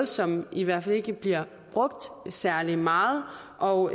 som i hvert fald ikke bliver brugt særlig meget og